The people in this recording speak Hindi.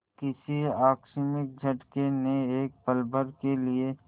किसी आकस्मिक झटके ने एक पलभर के लिए